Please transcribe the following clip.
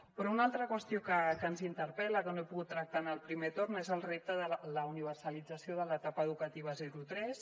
però una altra qüestió que ens interpel·la que no he pogut tractar en el primer torn és el repte de la universalització de l’etapa educativa zero tres